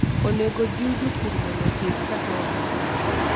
Onego ojiw jopur mondo opidh kahawa mang'eny